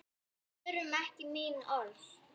Við þurfum ekki mín orð.